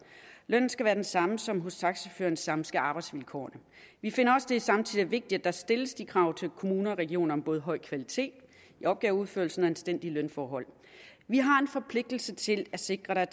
lønnen skal være den samme som hos taxachaufføren samme skal arbejdsvilkårene vi finder også at det samtidig er vigtigt at der stillles krav til kommuner og regioner om både høj kvalitet i opgaveudførelsen og anstændige lønforhold vi har en forpligtelse til at sikre at